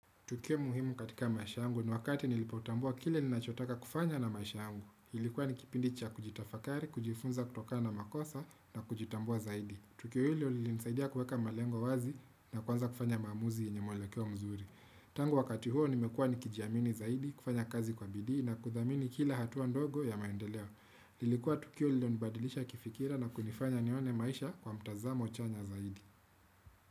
Tukio muhimu katika maisha yangu ni wakati nilipotambua kile ninachotaka kufanya na maisha yangu. Ilikuwa nikipindi cha kujitafakari, kujifunza kutoka na makosa na kujitambua zaidi. Tukio hilo linisaidia kuweka malengo wazi na kuanza kufanya maamuzi yenye mwelekeo mzuri. Tangu wakati huo nimekua nikijiamini zaidi, kufanya kazi kwa bidii na kuthamini kila hatua ndogo ya maendeleo. Lilikuwa tukio lilonibadilisha kifikira na kunifanya nione maisha kwa mtazamo chonjo zaidi.